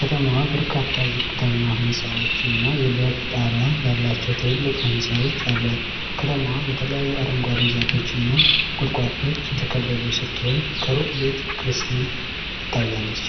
ከተማዋ በርካታ ዝቅተኛ ሕንጻዎች እና የብረት ጣሪያ ያላቸው ትልልቅ ህንጻዎች አሏት። ከተማዋ በተለያዩ አረንጓዴ ዛፎች እና ቁጥቋጦዎች የተከበበች ስትሆን፣ ከሩቅ ቤተ ክርስቲያን ትታያለች።